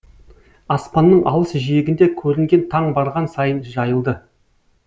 аспанның алыс жиегінде көрінген таң барған сайын жайылды